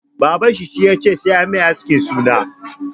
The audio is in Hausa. Baban shi ya ce 'Sai anyi mai askin suna'!